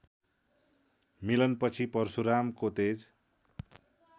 मिलनपछि परशुरामको तेज